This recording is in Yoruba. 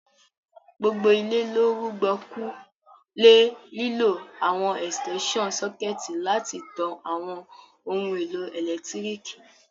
Gbogbo ilé lo rùgbọ̀kú le lílo àwon extension sucket láti tan àwon oun èlò ẹ́lẹ̀ntirikì